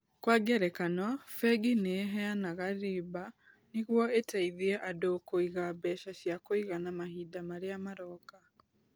Kwa ngerekano, bengi nĩ iheanaga riba nĩguo iteithie andũ kũiga mbeca cia kũigana mahinda marĩa maroka.